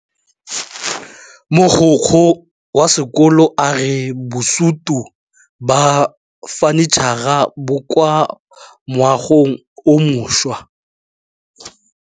Mogokgo wa sekolo a re bosutô ba fanitšhara bo kwa moagong o mošwa.